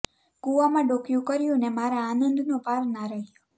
કૂવામાં ડોકિયું કર્યું ને મારા આનંદનો પાર ના રહ્યો